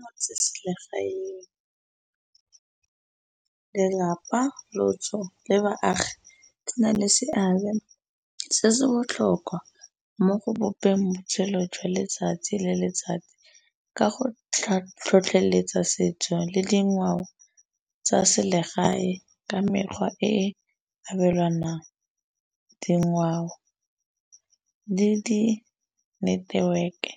Motseselegaeng, lelapa, lotso le baagi na le seabe se se botlhokwa mo go bopeng botshelo jwa letsatsi le letsatsi ka go tlhotlheletsa setso le dingwao tsa selegae ka mekgwa e abelanwang. Dingwao le di-network-e